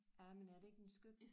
Ja men er det ikke en skøn